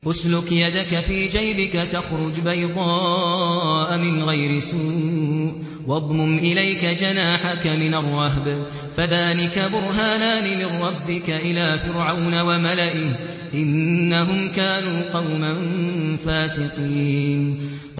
اسْلُكْ يَدَكَ فِي جَيْبِكَ تَخْرُجْ بَيْضَاءَ مِنْ غَيْرِ سُوءٍ وَاضْمُمْ إِلَيْكَ جَنَاحَكَ مِنَ الرَّهْبِ ۖ فَذَانِكَ بُرْهَانَانِ مِن رَّبِّكَ إِلَىٰ فِرْعَوْنَ وَمَلَئِهِ ۚ إِنَّهُمْ كَانُوا قَوْمًا فَاسِقِينَ